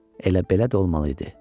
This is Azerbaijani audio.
Elə belə də olmalı idi.